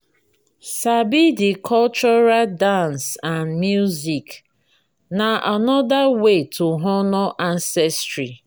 sabi the cultural dance and music na another way to honor ancestry